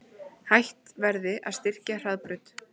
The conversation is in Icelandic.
Hætt verði að styrkja Hraðbraut